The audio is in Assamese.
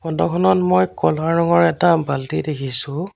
ফটো খনত মই ক'লা ৰঙৰ এটা বাল্টি দেখিছোঁ।